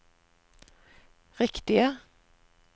riktige